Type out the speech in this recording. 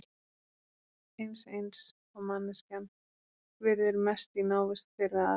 Mýkt eins eins og manneskjan virðir mest í návist hver við aðra.